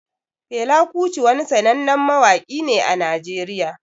Fela Kuti wani sanannen mawaƙi ne a Najeriya